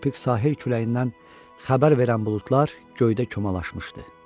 Tropik sahil küləyindən xəbər verən buludlar göydə kümələşmişdi.